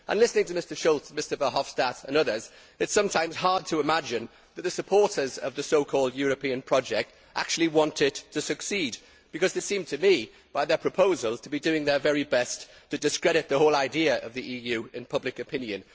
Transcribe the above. Listening to Mr Schulz, Mr Verhofstadt and others, it is sometimes hard to imagine that the supporters of the so called European project actually want it to succeed because they seem to me, by their proposals, to be doing their very best to discredit the whole idea of the EU in public opinion.